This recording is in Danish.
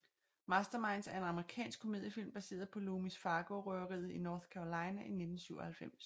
Masterminds er en amerikansk komediefilm baseret på Loomis Fargo røveriet i North Carolina i 1997